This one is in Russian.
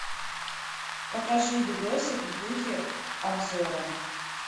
покажи видосик в духе обзора